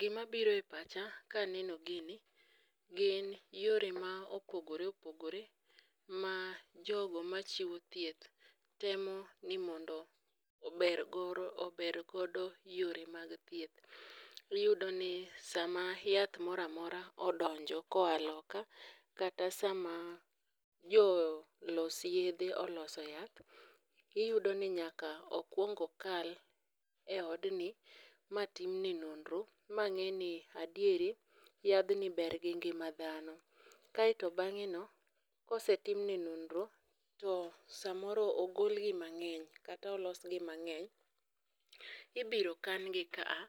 Gima biro e pacha ka aneno gini gin yore ma opogore opogore ma jogo ma chiwo thieth temo ni mondo obergoro obergodo yore mag thieth. Iyudo ni sama yath moramora odonjo koa loka, kata sama jo los yedhe oloso yath, iyudo ni nyaka okwongo kal e odni matimne nondro. Ma ng'e ni adieri yadhni ber gi ngima dhano, kaeto bang'e no kosetimne nondro to samoro ogolgi mang'eny kata olosgi mang'eny. Ibiro kan gi ka a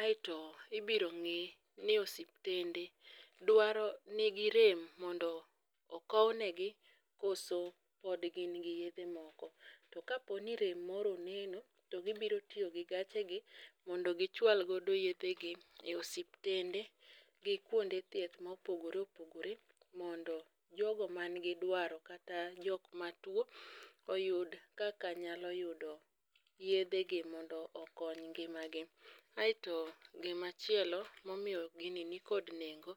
aeto ibiro ng'i ni osiptende dwaro nigi rem mondo okownegi koso pod gin gi yedhe moko. To kaponi rem moro oneno, to gibiro tiyo gi gache gi mondo gichwalgodo yedhe gi e osiptende gi kuonde thieth mopogore opogore. Mondo jogo man gi dwaro kata jokma tuo, oyud kaka nyalo yudo yedhe gi mondo okony ngima gi. Aeto gimachielo momiyo gini nikod nengo,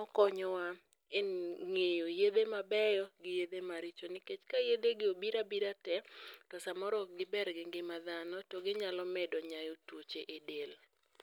okonyowa e ng'eyo yedhe mabeyo gi yedhe maricho. Nikech ka yedhe gi obira bira te, to samoro ok giber gi ngima dhano to ginyalo medo nyayo tuoche e del.